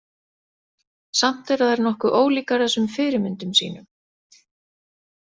Samt eru þær nokkuð ólíkar þessum fyrirmyndum sínum.